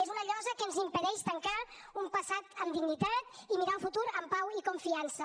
és una llosa que ens impedeix tancar un passat amb dignitat i mirar el futur amb pau i confiança